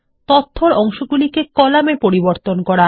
তথ্যর অংশগুলি কে কলাম -এ পরিবর্তন করা